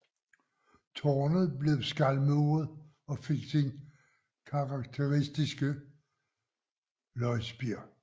Tårnet blev skalmuret og fik sin karakteristiske løgspir